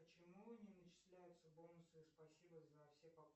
почему не начисляются бонусы спасибо за все покупки